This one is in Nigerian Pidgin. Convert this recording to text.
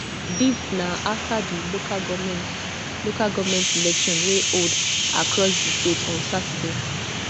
dis na afta di local goment local goment election wey hold across di state on saturday